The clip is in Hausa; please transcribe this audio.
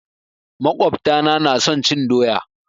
makwabta na na son cin doya.